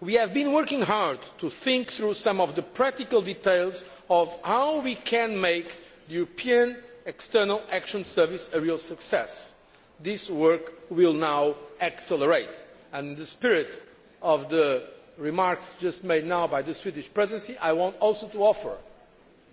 We have been working hard to think through some of the practical details of how we can make the European External Action Service a real success. This work will now accelerate and, in the same spirit as the remarks made just now by the Swedish Presidency, I want